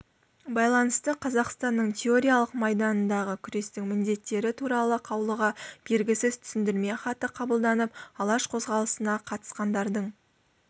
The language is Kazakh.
байланысты қазақстанның теориялық майданындағы күрестің міндеттері туралы қаулыға бергісіз түсіндірме хаты қабылданып алаш қозғалысына қатысқандардың